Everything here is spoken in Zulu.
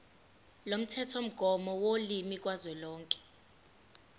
lomthethomgomo wolimi kazwelonke